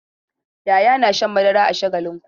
Yahaya na shan madara a Shagalinku.